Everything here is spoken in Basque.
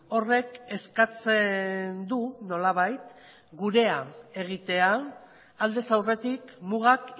horrek eskatzen du nolabait gurea egitea aldez aurretik mugak